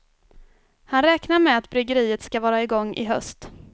Han räknar med att bryggeriet skall vara igång i höst.